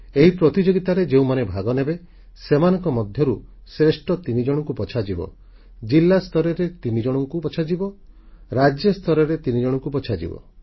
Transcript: ଏହି ପ୍ରତିଯୋଗିତାରେ ଯେଉଁମାନେ ଭାଗ ନେବେ ସେମାନଙ୍କ ମଧ୍ୟରୁ ଶ୍ରେଷ୍ଠ ତିନିଜଣଙ୍କୁ ବଛାଯିବ ଜିଲ୍ଲାସ୍ତରରେ ତିନିଜଣଙ୍କୁ ବଛାଯିବ ରାଜ୍ୟସ୍ତରରେ ତିନିଜଣଙ୍କୁ ବଛାଯିବ